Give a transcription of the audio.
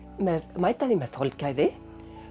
mæta því með þolgæði